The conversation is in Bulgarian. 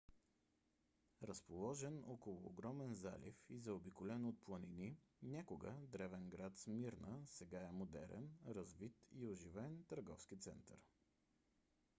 разположен около огромен залив и заобиколен от планини някога древен град смирна сега е модерен развит и оживен търговски център